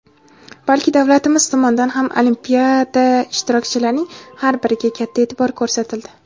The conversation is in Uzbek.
balki davlatimiz tomonidan ham Olimpiada ishtirokchilarining har biriga katta e’tibor ko‘rsatildi.